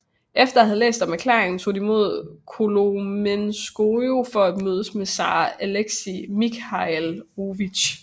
Efter at have læst deres erklæring tog de mod Kolomenskoye for at mødes med zar Alexei Mikhailovich